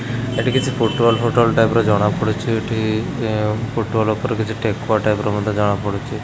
ଏଠି କିଛି ପୋଟଲ ଫୋଟଲ ଟାଇପ୍ ର ଜଣା ପଡୁଛି। ଏଠି ଏଁ ପୋଟଲ ଉପରେ କିଛି ଠେକୁଆ ଟାଇପ୍ ର ମଧ୍ୟ ଜଣା ପଡୁଚି।